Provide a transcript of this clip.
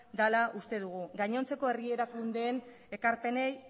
dela uste dugu gainontzeko herri erakundeen ekarpenei